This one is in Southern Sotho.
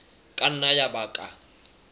ka nna ya ba ka